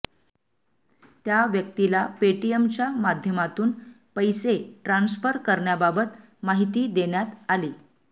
त्या व्यक्तीला पेटीएमच्या माध्यमातून पैसे ट्रान्सफर करण्याबाबत माहिती देण्यात आली